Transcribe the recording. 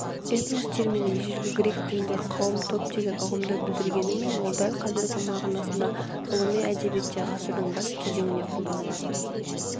этнос термині ежелгі грек тілінде қауым топ деген ұғымды білдіргенімен ол дәл қазіргі мағынасында ғылыми әдебиетте ғасырдың бас кезінен қолданыла